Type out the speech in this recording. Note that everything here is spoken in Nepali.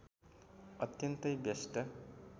अत्यन्तै व्यस्त